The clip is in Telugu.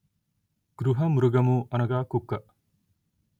గృహమృగము అనగా కుక్క